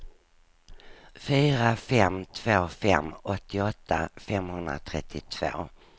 fyra fem två fem åttioåtta femhundratrettiotvå